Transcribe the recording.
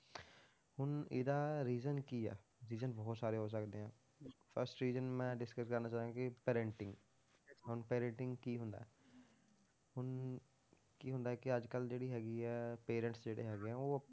ਹੁਣ ਇਹਦਾ reason ਕੀ ਆ reason ਬਹੁਤ ਸਾਰੇ ਹੋ ਸਕਦੇ ਹੈ first reason ਮੈਂ discuss ਕਰਨਾ ਚਾਹਾਂਗਾ parenting ਹੁਣ parenting ਕੀ ਹੁੰਦਾ ਹੈ, ਹੁਣ ਕੀ ਹੁੰਦਾ ਹੈ ਕਿ ਅੱਜ ਕੱਲ੍ਹ ਜਿਹੜੀ ਹੈਗੀ ਹੈ parents ਜਿਹੜੇ ਹੈਗੇ ਹੈ ਉਹ